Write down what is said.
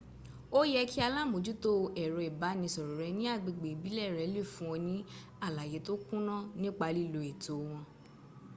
o ye ki alamojuto ero ibanisoro re ni agbegbe ibile re le fun o ni alaye to kuna nipa lilo eto won